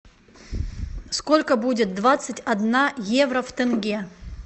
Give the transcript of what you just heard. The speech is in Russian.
сколько будет двадцать одна евро в тенге